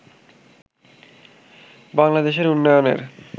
বাংলাদেশের উন্নয়নের